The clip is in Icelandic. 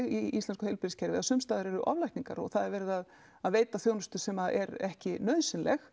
í íslensku heilbrigðiskerfi að sumstaðar eru oflækningar og það er verið að að veita þjónustu sem er ekki nauðsynleg